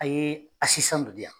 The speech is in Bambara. A ye dɔ di yan.